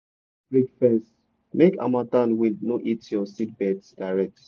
put windbreak fence make harmattan wind no hit your seedbeds direct.